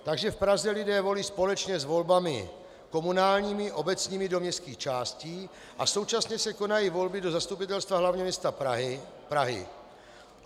Takže v Praze lidé volí společně s volbami komunálními, obecními do městských částí a současně se konají volby do Zastupitelstva hlavního města Prahy.